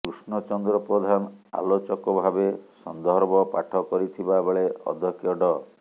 କୃଷ୍ଣଚନ୍ଦ୍ର ପ୍ରଧାନ ଆଲୋଚକ ଭାବେ ସନ୍ଦର୍ଭ ପାଠ କରିଥିବା ବେଳେ ଅଧକ୍ଷ ଡ଼